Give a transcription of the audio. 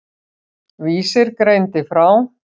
Vísir greindi frá.